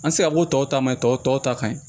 An ti se ka bɔ tɔw ta ma tɔw tɔw ta ka ɲi